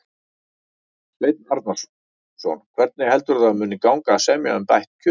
Sveinn Arnarson: Hvernig heldurðu að það muni gangi að semja um bætt kjör?